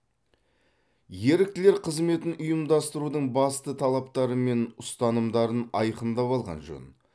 еріктілер қызметін ұйымдастырудың басты талаптары мен ұстанымдарын айқындап алған жөн